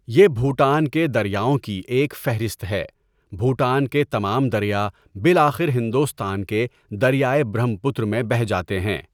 یہ بھوٹان کے دریاؤں کی ایک فہرست ہے، بھوٹان کے تمام دریا بالآخر ہندوستان کے دریائے برہم پتر میں بہہ جاتے ہیں۔